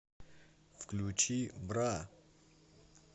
включи бра